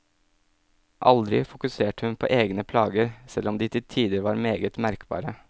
Aldri fokuserte hun på egne plager, selv om de til tider var meget merkbare.